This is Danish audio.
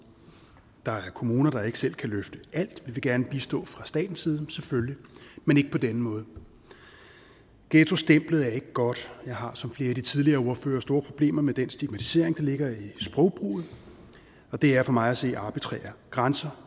der er kommuner der ikke selv kan løfte alt vi vil gerne bistå fra statens side selvfølgelig men ikke på denne måde ghettostemplet er ikke godt jeg har som flere af de tidligere ordførere store problemer med den stigmatisering der ligger i sprogbruget og det er for mig at se arbitrære grænser